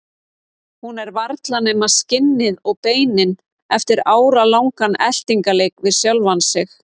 Hún er varla nema skinnið og beinin eftir áralangan eltingarleik við sjálfa sig.